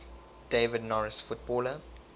david norris footballer